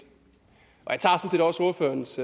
jeg tager sådan set også ordførerens